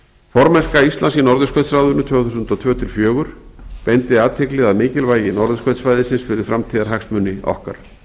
formennska íslands í norðurskautsráðinu tvö þúsund og tvö til tvö þúsund og fjögur beindi athygli að mikilvægi norðurskautssvæðisins fyrir framtíðarhagsmuni okkar